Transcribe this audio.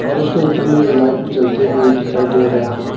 और उसके ऊपर मे लाइट भी जलते हुए दिखाई दे रहा है।